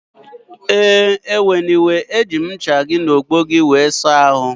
Ee, biko eweniwe eji m ncha gị na ogbo gị wee saa ahụ